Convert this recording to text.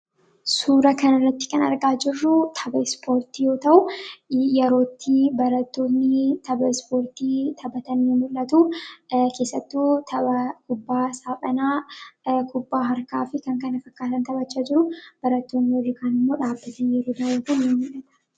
Suura kana irratti kan argaa jirruu, tapha ispoortii yoo ta'u, yeroo itti barattoonni tapha ispoortii taphatan ni mul'atuu keessattuu tapha kubbaa saaphanaa, kubbaa harkaa fi kan kana fakkaatan barattoonni warri kaan immoo dhaabbiitiin eeggataa jiru.